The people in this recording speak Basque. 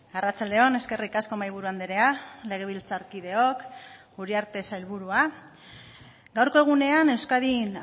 arratsalde on eskerrik asko mahaiburu andrea legebiltzarkideok uriarte sailburua gaurko egunean euskadin